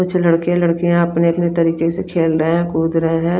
कुछ लड़के लडकिया अपने अपने तरीके से टहल रहे है कूद रहे है।